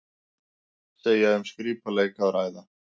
Segja um skrípaleik að ræða